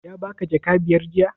Ya baka jaka biyar?